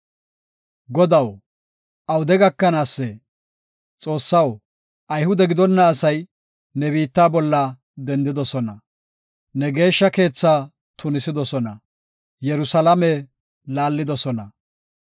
Xoossaw, ayhude gidonna asay, ne biitta bolla dendidosona; Ne geeshsha keethaa tunisidosona; Yerusalaame laallidosona.